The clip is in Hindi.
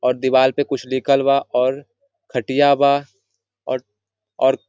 और दीवार पे कुछ लिखलबा और खटिया बा और और--